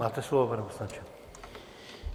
Máte slovo, pane poslanče.